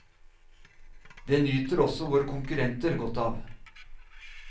Det nyter også våre konkurrenter godt av.